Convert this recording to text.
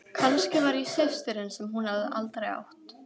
Kannski var ég systirin sem hún hafði aldrei átt.